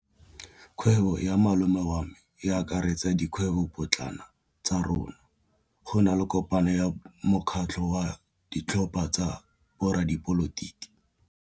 Kgwêbô ya malome wa me e akaretsa dikgwêbôpotlana tsa rona. Go na le kopanô ya mokgatlhô wa ditlhopha tsa boradipolotiki.